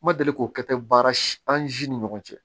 N ma deli k'o kɛ ten baara si an siw ni ɲɔgɔn cɛ